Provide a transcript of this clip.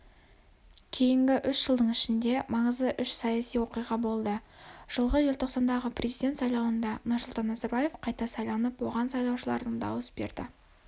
кейінгі үш жылдың ішінде маңызды үш саяси оқиға болды жылғы желтоқсандағы президент сайлауында нұрсұлтан назарбаев қайта сайланып оған сайлаушылардың дауыс берді